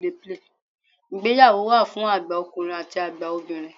Ìgbéyàwó wà fún àgbà ọkùnrin àti àgbà obìnrin.